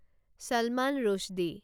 চলমান ৰুশ্বদি